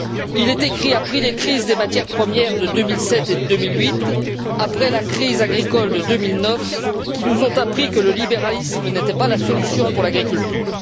Il a été écrit après les crises des matières premières de 2007 et de 2008, après la crise agricole de 2009, qui nous ont appris que le libéralisme n'était pas la solution pour l'agriculture.